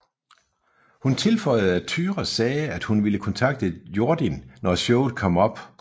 Hun tilføjede at Tyra sagde at hun ville kontakte Jordin når showet kom op